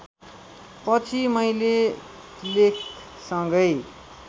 पछि मैले लेखसँगै